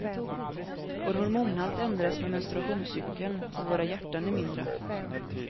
Vår hormonhalt ändras med menstruationscykeln och våra hjärtan är mindre.